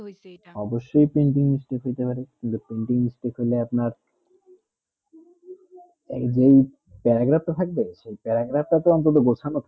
অবস ই printing mistake কিন্তু printing mistake হলে আপনার এক দিক paragraph তো থাকবে সেটাই এরাকাত বসানে থাকে